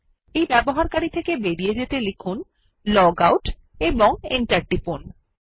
user থেকে বেরিয়ে যেতে লিখুন লগআউট এবং এন্টার টিপুন